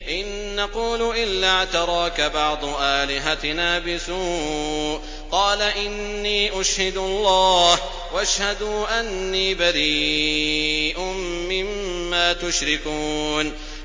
إِن نَّقُولُ إِلَّا اعْتَرَاكَ بَعْضُ آلِهَتِنَا بِسُوءٍ ۗ قَالَ إِنِّي أُشْهِدُ اللَّهَ وَاشْهَدُوا أَنِّي بَرِيءٌ مِّمَّا تُشْرِكُونَ